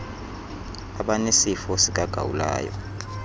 abanesifo sika gawulayo